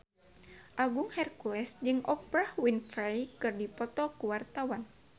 Agung Hercules jeung Oprah Winfrey keur dipoto ku wartawan